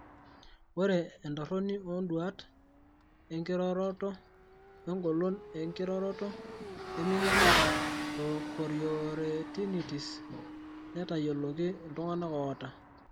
Ore entoroni oonduat, enkiroroto, we ngolon enkiroroto, eming'ano,o chorioretinitis netatioloki iltung'anak oota .